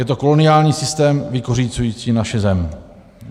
Je to koloniální systém, vykořisťující naši zem.